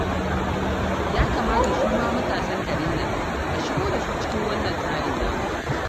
Ya kamata su ma matasan garin nan a shigo da su cikin wannan tsarin namu